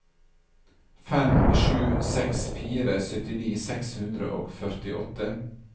fem sju seks fire syttini seks hundre og førtiåtte